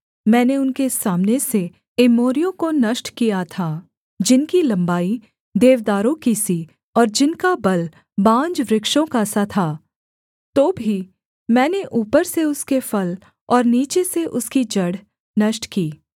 मैंने उनके सामने से एमोरियों को नष्ट किया था जिनकी लम्बाई देवदारों की सी और जिनका बल बांजवृक्षों का सा था तो भी मैंने ऊपर से उसके फल और नीचे से उसकी जड़ नष्ट की